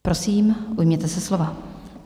Prosím, ujměte se slova.